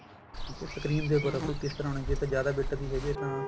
ਠੀਕ ਹੈ screen ਦੇ ਉੱਪਰ ਕਿਸ ਤਰ੍ਹਾਂ ਹੁਣ ਜੇ ਤਾਂ ਜਿਆਦਾ bit ਦੀ ਹੈਗੀ ਹੈ ਤਾਂ